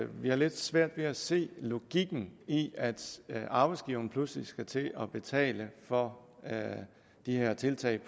vi har lidt svært ved at se logikken i at at arbejdsgiveren pludselig skal til at betale for de her tiltag